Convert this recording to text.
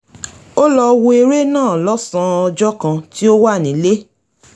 ó lọ wo eré náà lọ́sàn-án ọjọ́ kan tí ó wà nílé